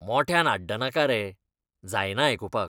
मोठ्यान आड्डनाका रे, जायना आयकुपाक.